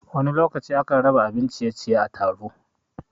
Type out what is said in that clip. Wani lokaci a kan raba abin ciye-ciye a taro